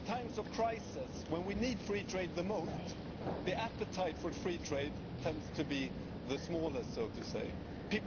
During times of crisis when we need free trade the most, the appetite for free trade tends to be the smallest, so to speak.